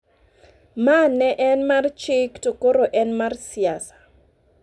ma ne en mar chik to koro en mar "siasa".